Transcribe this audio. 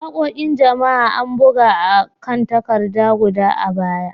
Waƙoƙin jama'a, an buga a kan takarda guda a baya.